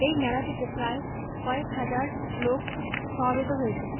এই মেলাটিতে প্রায় কয়েক হাজার লোক সমবেত হয়েছেন।